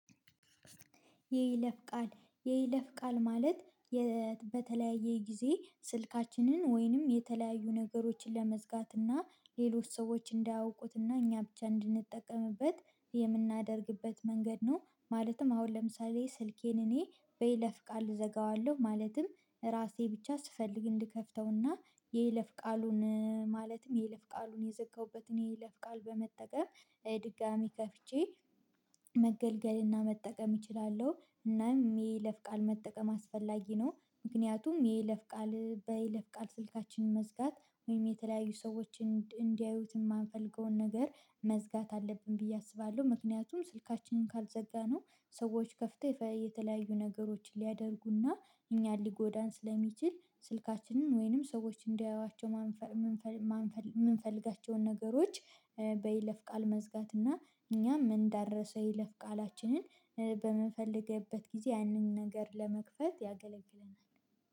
የይለፍ ቃል የይለፍ ቃል ማለት በተለያየ ጊዜ ስልካችንን ወይንም የተለያዩ ነገሮችን ለመዝጋት እና ሌሎች ሰዎች እንዳያውቁት እና እኛ ብቻ እንድንጠቀምበት የምናደርግበት መንገድ ነው። ማለትም አሁን ለምሳሌ ስልኬን እኔ በይለፍ ቃል እዘጋዋለሁ ማለትም ራሴ ብቻ ስፈልግ እንድከፍተውና የይለፍ ቃሉን ማለትም የይለፍ ቃሉን የዘጋሁበት እኔ የለፍ ቃል በመጠቀም ድጋሚ ከፍቼ መገልገልና መጠቀም እችላለሁ። እናም የይፍ ቃል መጠቀም አስፈላጊ ነው ምክንያቱም የይለፍ ቃል በይለፍ ቃል ስልካችንን መዝጋት ወይም የተለያዩ ሰዎችን እንዲያዩት የማንፈልገውን ነገር መዝጋት አለብን ብዬ አስባለሁ። ምክንያቱም ስልካችንን ካልዘጋነው ሰዎች ከፍተው የተለያዩ ነገሮችን ሊያደርጉና እኛን ሊጎዳን ስለሚችል ስልካችንን ወይንም ሰዎች እንዲያዩዋቸው የማንፈ ምንፈ ማንፈል የምንፈልጋቸውን ነገሮች በይለፍ ቃል መዝጋት እና እኛ እንዳንረሳው የይለፍ ቃላችንን በምንፈልግበት ጊዜ ያንን ነገር ለመክፈት ያገለግላል